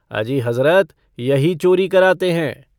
अजी हजरत यही चोरी कराते हैं।